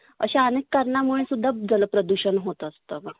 अशा अनेक कारणामुळे जल प्रदुषन होत असतं.